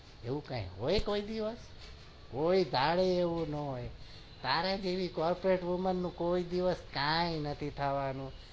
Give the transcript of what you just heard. એવું કઈ હોય તારે જેવું corporate women નું કોઈ દિવસ કઈ નથી થવાનું